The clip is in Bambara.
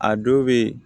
A dɔw bɛ yen